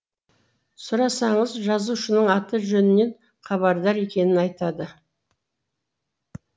сұрасаңыз жазушының аты жөнінен хабардар екенін айтады